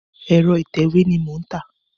Ẹ̀rọ ìtẹ̀wé ni mò ń tà.